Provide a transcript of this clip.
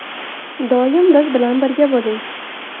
Doim biz bilan birga bo‘ling!